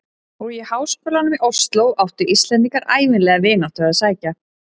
Og í háskólann í Osló áttu Íslendingar ævinlega vináttu að sækja.